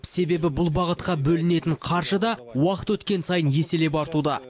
себебі бұл бағытқа бөлінетін қаржы да уақыт өткен сайын еселеп артуда